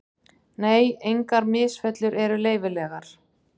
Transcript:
Nei, engar misfellur eru leyfilegar.